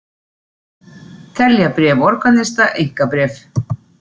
Telja bréf organista einkabréf